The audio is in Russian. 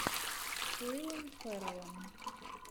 с уиллом ферреллом